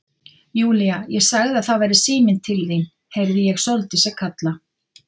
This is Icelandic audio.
Júlía, ég sagði að það væri síminn til þín heyrði ég Sóldísi kalla.